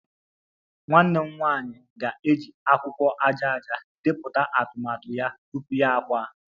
Nwanne m nwanyị ga-eji akwụkwọ aja aja depụta atụmatụ ya tupu ya akwa